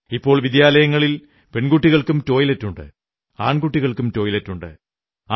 ഇപ്പോൾ വിദ്യാലയങ്ങളിൽ പെൺകുട്ടികൾക്കും ടോയ്ലറ്റുണ്ട് ആൺകുട്ടികൾക്കും ടോയ്ലറ്റുണ്ട്